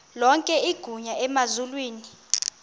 lonke igunya emazulwini